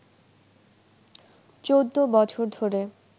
১৪ বছর ধরে